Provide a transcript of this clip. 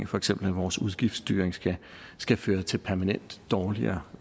for eksempel vores udgiftsstyring skal skal føre til permanent dårligere